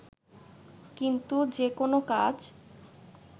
কিন্তু যে কোনো কাজ